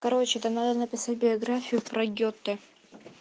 короче там надо написать биографию про гёте